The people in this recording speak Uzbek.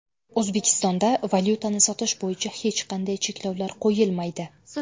O‘zbekistonda valyutani sotish bo‘yicha hech qanday cheklovlar qo‘yilmaydi.